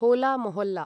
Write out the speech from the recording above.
होला मोहल्ला